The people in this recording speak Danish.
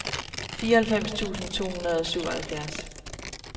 fireoghalvfems tusind to hundrede og syvoghalvfjerds